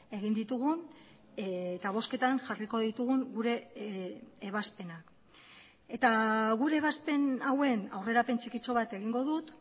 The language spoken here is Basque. egin ditugun eta bozketan jarriko ditugun gure ebazpenak eta gure ebazpen hauen aurrerapen txikitxo bat egingo dut